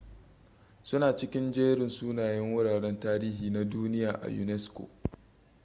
su na cikin jerin sunayen wuraren tarihi na duniya na unesco